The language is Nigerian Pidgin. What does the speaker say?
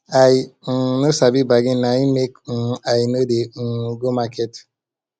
i um no sabi bargain na im make um i no dey um go market